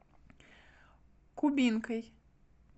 кубинкой